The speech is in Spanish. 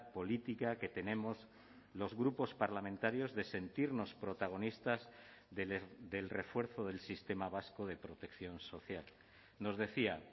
política que tenemos los grupos parlamentarios de sentirnos protagonistas del refuerzo del sistema vasco de protección social nos decía